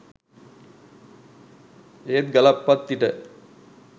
ඒත් ගලප්පත්තිට